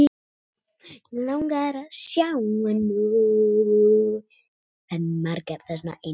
Við söknum þín, elsku amma.